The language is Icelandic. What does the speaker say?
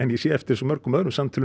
ég sé eftir mörgum öðrum samtölum